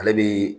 Ale bi